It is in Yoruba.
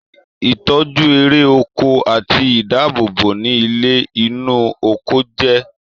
itọju ere oko ati ìdáàbòbò ni ilé inu oko jé.